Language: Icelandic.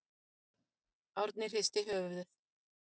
Árni hristi höfuðið.